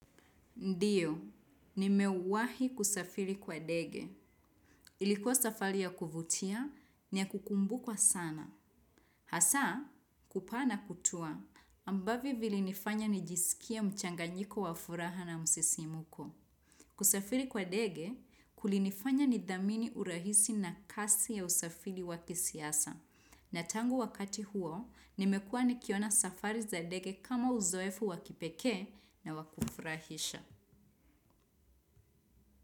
Ndiyo, nimewahi kusafiri kwa dege. Ilikuwa safari ya kuvutia, ni ya kukumbukwa sana. Hasa, kupaa na kutua, ambavyo vilinifanya nijisikie mchanganyiko wa furaha na msisimuko. Kusafiri kwa dege, kulinifanya ni dhamini urahisi na kasi ya usafiri wa kisiasa. Na tangu wakati huo, nimekua nikiona safari za dege kama uzoefu wakipeke na wakufurahisha.